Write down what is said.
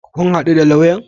Kun haɗu da lauyan?